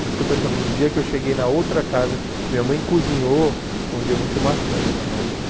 Por isso que eu estou te falando, no dia que eu cheguei na outra casa, que minha mãe cozinhou, foi um dia muito marcante na minha vida.